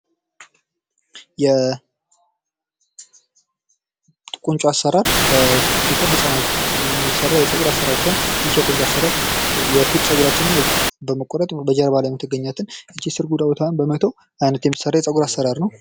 የ ቁንጮ አሠራር በኢትዮጵያ ህፃናት የሚሰራ የፀጉር አሠራር ሲሆን፤ ይህ የ ቁንጮ አሰራር የፊት ጸጉራችንና በመቆረጥ በጀርባ ላይ የምትገኛትን እቺን ስርጉዷን ቦታ በመተው አይነት የሚሰራ የ ጸጉር አሰራር ነው።